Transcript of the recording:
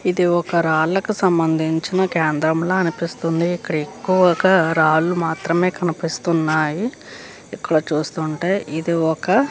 ఇది ఒక రాలకు సంబంధించిన కేంద్రం ల అనిపిస్తుంది ఇక్కడ ఎక్కువగా రాళ్లు మాత్రమే కనిపిస్తువున్నాయి ఇక్కడ చూస్తుంటే ఇది ఒక.